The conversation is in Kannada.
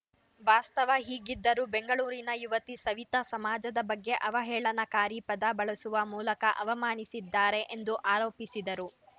ವಾಸ್ತವ ಹೀಗಿದ್ದರೂ ಬೆಂಗಳೂರಿನ ಯುವತಿ ಸವಿತಾ ಸಮಾಜದ ಬಗ್ಗೆ ಅವಹೇಳನಕಾರಿ ಪದ ಬಳಸುವ ಮೂಲಕ ಅವಮಾನಿಸಿದ್ದಾರೆ ಎಂದು ಆರೋಪಿಸಿದರು